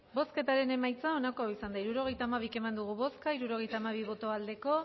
hirurogeita hamabi eman dugu bozka hirurogeita hamabi bai